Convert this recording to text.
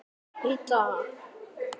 Og út.